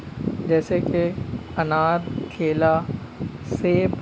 जैसे की अनार केला सेब --